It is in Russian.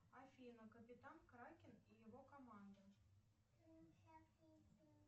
афина капитан кракен и его команда